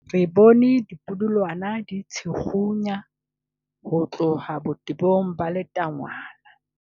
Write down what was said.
re bone dipudulwana di tshikgunya ho tloha botebong ba letangwana